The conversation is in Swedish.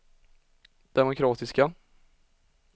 demokratiska